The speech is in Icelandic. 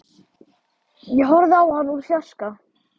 Ég horfði á hann úr fjarska.